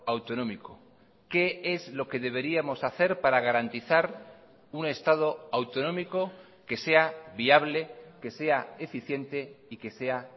autonómico qué es lo que deberíamos hacer para garantizar un estado autonómico que sea viable que sea eficiente y que sea